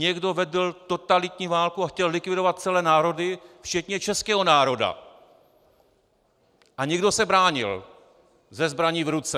Někdo vedl totalitní válku a chtěl likvidovat celé národy včetně českého národa a někdo se bránil se zbraní v ruce.